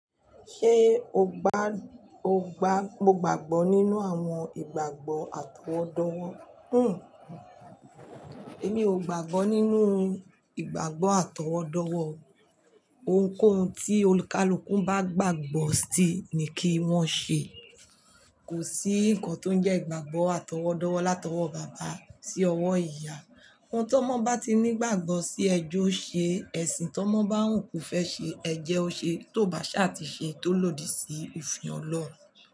Ṣé o gbà, o gbà, o gbàgbọ́ nínú àwọn ìgbàgbọ́ àtọwọ́dọ́wọ́? Hmmm. Èmi ò gbàgbọ́ nínú ìgbàgbọ́ àtọwọ́dọ́wọ́. Ohunkóhun tí olúkalúkun bá gbàgbọ́ sí ni kí wọ́n ṣe. Kò sí nǹkan tó ń jẹ́ ìgbàgbọ́ àtọwọ́dọ́wọ́ látọwọ́ bàbá sí ọwọ́ ìyá. Ohun tó mọ́ bá ti ní ìgbàgbọ́ sí ẹ jọ́ ṣe, ẹ̀sìn tó mọ́ bá ń wù ko fẹ́ ṣe ẹ jẹ́ o ṣe, tó bá ṣá ti ṣe, tó lòdì sí, òfin Ọlọ́un.